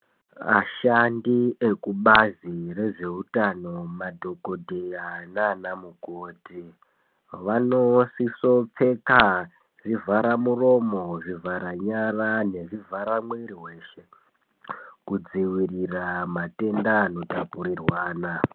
Ashandi ekubazi rezveutano, madhokodheya naanamukhoti, vanosisopfeka zvivhara muromo, zvivhara nyara nezvivhara mwiiri weshe kudzivirira matenda anotapurirwana.